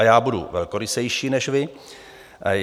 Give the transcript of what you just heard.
A já budu velkorysejší než vy.